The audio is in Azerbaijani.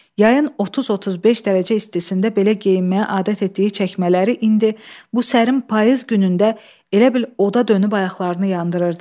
Yayın 30-35 dərəcə istisində belə geyinməyə adət etdiyi çəkmələri indi bu sərin payız günündə elə bil oda dönüb ayaqlarını yandırırdı.